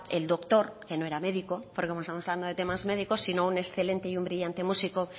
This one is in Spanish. el doctor que no era médico porque como estamos hablando de temas médicos sino un excelente y un brillante música